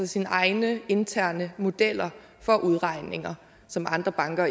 sine egne interne modeller for udregninger som andre banker